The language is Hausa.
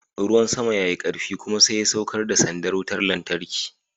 Ruwan sama ya yi karfi kuma sai ya saukar da sandar wutar lantarki.